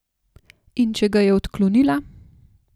In če ga je odklonila?